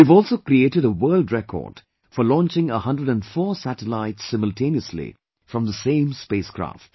We have also created a world record for launching 104 satellites simultaneously from the same spacecraft